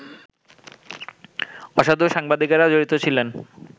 অসাধু সাংবাদিকেরা জড়িত ছিলেন